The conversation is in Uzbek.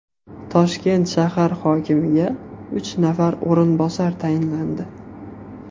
Toshkent shahar hokimiga uch nafar o‘rinbosar tayinlandi.